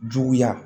Juguya